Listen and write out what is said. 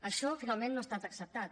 això finalment no ha estat acceptat